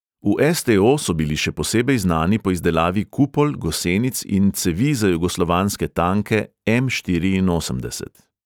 V es|te|o so bili še posebej znani po izdelavi kupol, gosenic in cevi za jugoslovanske tanke em| štiriinosemdeset.